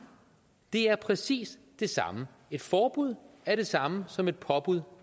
det er præcis det samme et forbud er det samme som et påbud